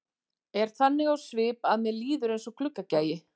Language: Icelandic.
Er þannig á svip að mér líður eins og gluggagægi.